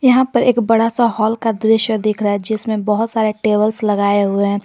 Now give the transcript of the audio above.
यहां पर एक बड़ा सा हॉल का दृश्य दिख रहा है जिसमें बहौत सारे टेबल्स लगाए हुए हैं।